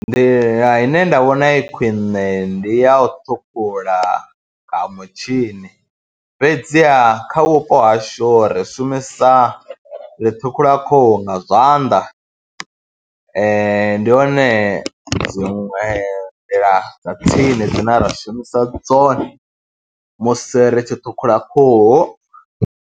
Nḓila ine nda vhona i khwine ndi ya u ṱhukhula ha mutshini fhedziha kha vhupo hashu ri shumisa, ri ṱhukhula khuhu nga zwanḓa, ndi hone dziṅwe nḓila dza tsini dzine ra shumisa dzone musi ri tshi ṱhukhula khuhu.